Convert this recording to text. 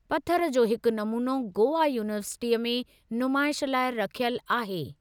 पथर जो हिकु नमूनो गोवा यूनीवर्सिटीअ में नुमाइश लाइ रखियलु आहे।